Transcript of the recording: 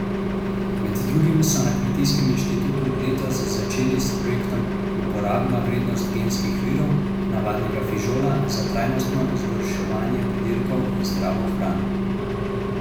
Med drugim so na Kmetijskem inštitutu letos začeli s projektom Uporabna vrednost genskih virov navadnega fižola za trajnostno izboljšanje pridelkov in zdravo hrano.